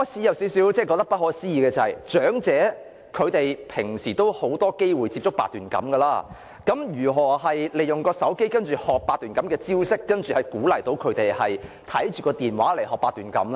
"大家可能覺得不可思議，長者日常已有很多機會接觸八段錦，那麼如何利用手機學習八段錦招式，難道要他們看着電話來學習八段錦嗎？